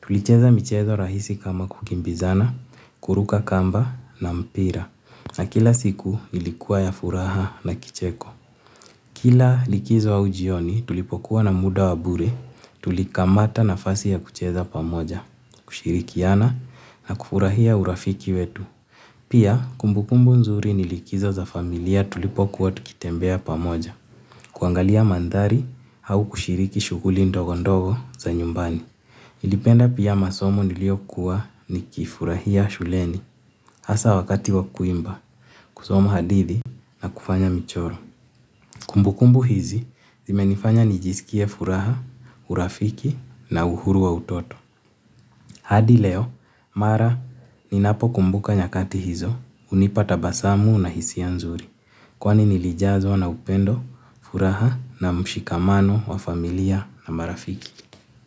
Tulicheza michezo rahisi kama kukimbizana, kuruka kamba na mpira na kila siku ilikuwa ya furaha na kicheko. Kila likizo au jioni tulipokuwa na muda wa bure tulikamata nafasi ya kucheza pamoja, kushirikiana na kufurahia urafiki wetu. Pia kumbukumbu nzuri nilikizo za familia tulipo kuwa tukitembea pamoja. Kuangalia mandhari au kushiriki shughuli ndogondogo za nyumbani. Nilipenda pia masomo niliyokuwa nikifurahia shuleni hasa wakati wa kuimba, kusoma hadithi na kufanya michoro. Kumbukumbu hizi zimenifanya nijisikie furaha, urafiki na uhuru wa utoto. Hadi leo, mara ninapo kumbuka nyakati hizo, hunipa tabasamu na hisia nzuri. Kwani nilijazwa na upendo, furaha na mshikamano wa familia na marafiki.